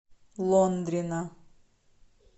лондрина